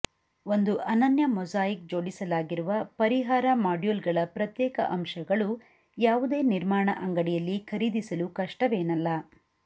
ಒಂದು ಅನನ್ಯ ಮೊಸಾಯಿಕ್ ಜೋಡಿಸಲಾಗಿರುವ ಪರಿಹಾರ ಮಾಡ್ಯೂಲ್ಗಳ ಪ್ರತ್ಯೇಕ ಅಂಶಗಳು ಯಾವುದೇ ನಿರ್ಮಾಣ ಅಂಗಡಿಯಲ್ಲಿ ಖರೀದಿಸಲು ಕಷ್ಟವೇನಲ್ಲ